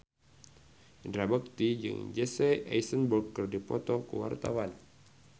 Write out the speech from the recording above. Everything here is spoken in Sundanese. Indra Bekti jeung Jesse Eisenberg keur dipoto ku wartawan